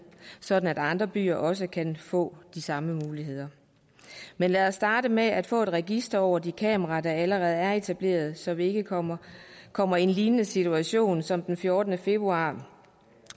sådan at andre byer også kan få de samme muligheder men lad os starte med at få et register over de kameraer der allerede er etableret så vi ikke kommer kommer i en lignende situation som den fjortende februar